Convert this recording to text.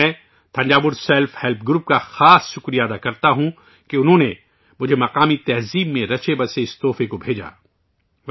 میں Thanjavur self help group کا خا ص طور پر شکریہ ادا کرتا ہوں کہ انہوں نے مجھے مقامی ثقافت میں رچے بسے اس تحفے کو بھیجا